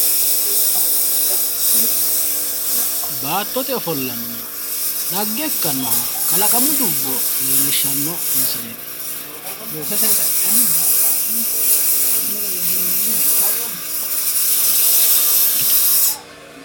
baattote ofollanna xagge ikkanoha kalaqamu dubbo leellishshanno misileeti.